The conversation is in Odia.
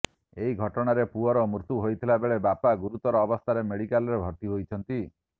ଏହି ଘଟଣାରେ ପୁଅର ମୃତ୍ୟୁ ହୋଇଥିଲା ବେଳେ ବାପା ଗୁରୁତର ଅବସ୍ଥାରେ ମେଡିକାଲରେ ଭର୍ତ୍ତି ହୋଇଛନ୍ତି